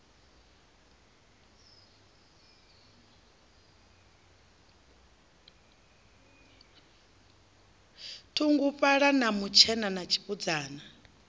thunguvhala na mutshena na tshibudzana